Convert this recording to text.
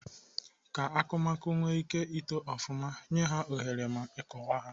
Ka akụmakụ nwee ike ito ofụma, nyee ha ohere ma ịkọwa ha.